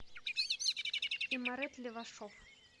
имарет левашов